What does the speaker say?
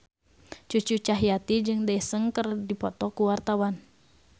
Cucu Cahyati jeung Daesung keur dipoto ku wartawan